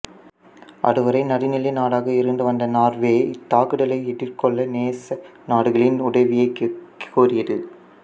அதுவரை நடுநிலை நாடாக இருந்து வந்த நார்வே இத்தாக்குதலை எதிர்கொள்ள நேச நாடுகளின் உதவியைக் கோரியது